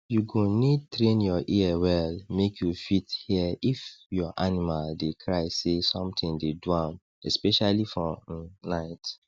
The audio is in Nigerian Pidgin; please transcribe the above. you go need train your ear well make you fit hear if your animal dey cry say something dey do am especially for um night